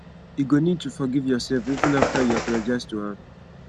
you go need to forgive yoursef even afta you apologize to am